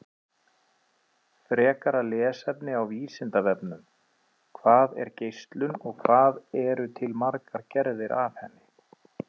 Frekara lesefni á Vísindavefnum: Hvað er geislun og hvað eru til margar gerðir af henni?